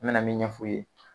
N mena min ɲɛ f'u ye